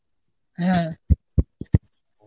হ্যাঁ.